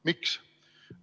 Miks?